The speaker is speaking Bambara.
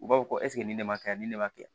U b'a fɔ ko nin ne ma kɛ yan ni ne ma kɛ